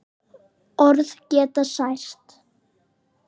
Orð geta sært.